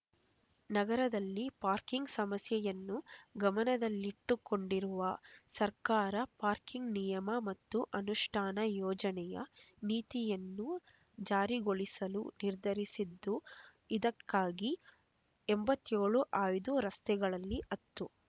ನಗರದಲ್ಲಿ ಪಾರ್ಕಿಂಗ್ ಸಮಸ್ಯೆಯನ್ನು ಗಮನದಲ್ಲಿಟ್ಟುಕೊಂಡಿರುವ ಸರ್ಕಾರ ಪಾರ್ಕಿಂಗ್ ನಿಯಮ ಮತ್ತು ಅನುಷ್ಠಾನ ಯೋಜನೆಯ ನೀತಿಯನ್ನು ಜಾರಿಗೊಳಿಸಲು ನಿರ್ಧರಿಸಿದ್ದು ಇದಕ್ಕಾಗಿ ಎಂಬತ್ತೇಳು ಆಯ್ದ ರಸ್ತೆಗಳಲ್ಲಿ ಹತ್ತು